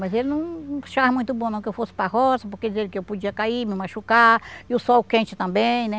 Mas ele não não achava muito bom não que eu fosse para roça, porque dizia ele que eu podia cair, me machucar, e o sol quente também, né?